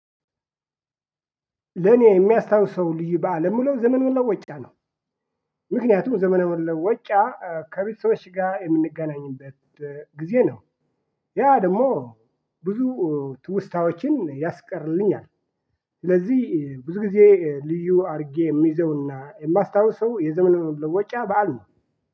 ለኔ የሚያስታውሰው ልዩ በዓል የምለው ዘመን መለወጫ ነው ምክንያቱም ዘመን መለወጫ ከቤተሰቦች ጋር የምንገናኝበት ጊዜ ነው ያ ደግሞ ብዙ ትውስታዎችን ያስቀርልኛል ስለዚህ ብዙ ጊዜ ልዩ አድርጌ የሚይዘውና የማስታውሰው የዘመነ መለወጫ በዓል ነው።